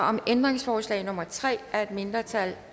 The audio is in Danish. om ændringsforslag nummer tre af et mindretal